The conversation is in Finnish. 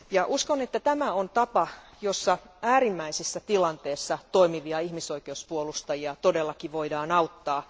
Uskon, että tämä on tapa, jossa äärimmäisessä tilanteessa toimivia ihmisoikeuspuolustajia todellakin voidaan auttaa.